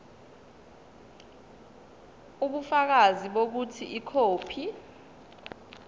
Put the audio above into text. ubufakazi bokuthi ikhophi